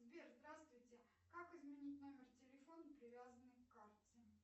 сбер здравствуйте как изменить номер телефона привязанный к карте